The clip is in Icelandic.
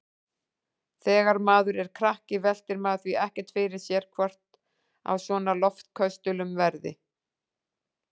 Þegar maður er krakki veltir maður því ekkert fyrir sér hvort af svona loftköstulum verði.